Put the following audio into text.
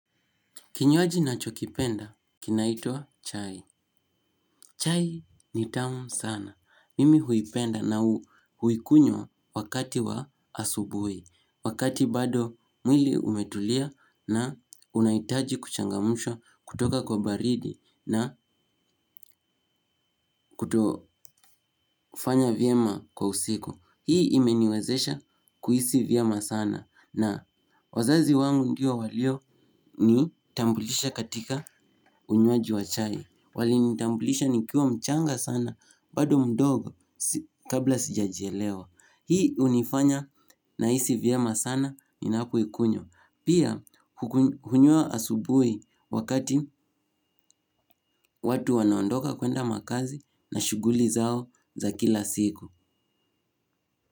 Kinywaji nachokipenda kinaitwa chai. Chai ni tamu sana. Mimi huipenda na huikunywa wakati wa asubuhi. Wakati bado mwili umetulia na unahitaji kuchangamshwa kutoka kwa baridi na kutofanya vyema kwa usiku. Hii imeniwezesha kuhisi vyema sana na wazazi wangu ndio walio nitambulisha katika unywaji wa chai. Wali nitambulisha nikiwa mchanga sana bado mdogo kabla sijajelewa. Hii hunifanya nahisi vyema sana ninapoikunywa. Pia hunywa asubuhi wakati watu wanaondoka kwenda makazi na shughuli zao za kila siku.